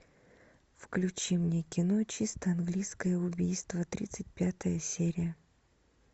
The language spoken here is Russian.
включи мне кино чисто английское убийство тридцать пятая серия